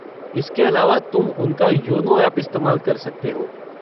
इसके अलावा तुम उनका योनो ऐप इस्तेमाल कर सकते हो।